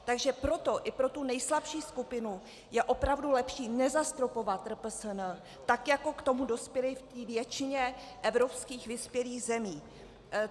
Takže proto i pro tu nejslabší skupinu je opravdu lepší nezastropovat RPSN, tak jako k tomu dospěli v té většině evropských vyspělých zemích.